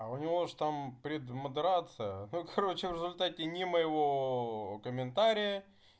а у него же там премодерация короче в результате ни моего комментария